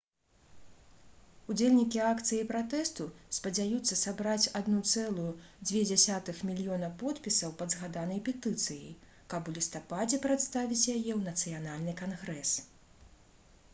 удзельнікі акцыі пратэсту спадзяюцца сабраць 1,2 мільёна подпісаў пад згаданай петыцыяй каб у лістападзе прадставіць яе ў нацыянальны кангрэс